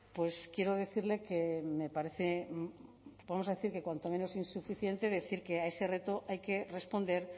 pues quiero decirle que me parece vamos a decir que cuanto menos insuficiente decir que a ese reto hay que responder